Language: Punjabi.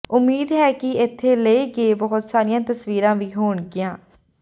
ਉਮੀਦ ਹੈ ਕਿ ਇੱਥੇ ਲਏ ਗਏ ਬਹੁਤ ਸਾਰੀਆਂ ਤਸਵੀਰਾਂ ਵੀ ਹੋਣਗੀਆਂ